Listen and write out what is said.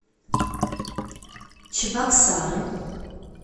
чебоксары